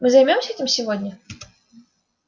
мы займёмся этим сегодня